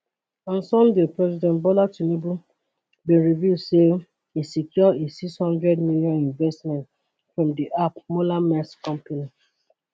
on sunday president bola tinubu bin reveal say e secure a six hundred million investment from di ap mollermaersk company